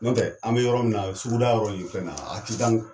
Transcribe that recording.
Ɲɔntɛ an bɛ yɔrɔ min na suguda yɔrɔ nin fɛn na a tidank